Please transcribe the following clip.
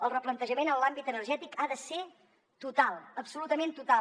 el replantejament en l’àmbit energètic ha de ser total absolutament total